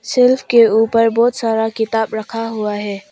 Shelf के ऊपर बहुत सारा किताब रखा हुआ है।